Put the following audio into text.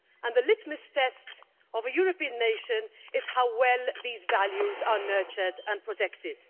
The litmus test of a European nation is how well these values are nurtured and protected.